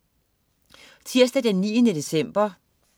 Tirsdag den 9. december